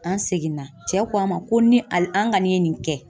An seginna cɛ ko a ma ko ni a ka nin ye nin kɛ